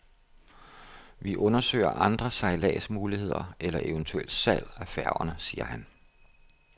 Vi undersøger andre sejladsmuligheder eller eventuelt salg af færgerne, siger han.